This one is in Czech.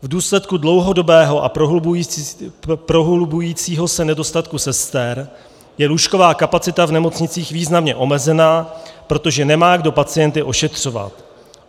V důsledku dlouhodobého a prohlubujícího se nedostatku sester je lůžková kapacita v nemocnicích významně omezena, protože nemá kdo pacienty ošetřovat.